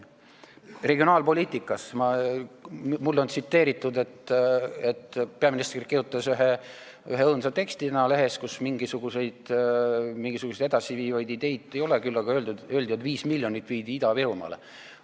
Mis puutub regionaalpoliitikasse, siis mulle on tsiteeritud peaministri kirjutatud õõnsat teksti, mis ilmus lehes ja kus mingisuguseid edasiviivaid ideid ei olnud, küll aga öeldi, et 5 miljonit viidi Ida-Virumaale.